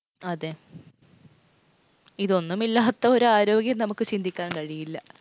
അതേ. ഇതൊന്നുമില്ലാത്ത ഒരു ആരോഗ്യം നമുക്ക് ചിന്തിക്കാൻ കഴിയില്ല.